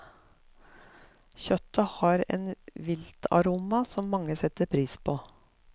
Kjøttet har en viltaroma som mange setter pris på.